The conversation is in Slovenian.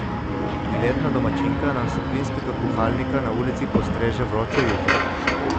Priletna domačinka nam s plinskega kuhalnika na ulici postreže vročo juho.